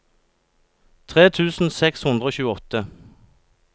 tre tusen seks hundre og tjueåtte